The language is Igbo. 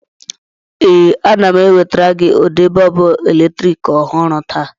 Ee, ana m ewetara gị ụdị bọlbụ eletrik ọhụrụ taa.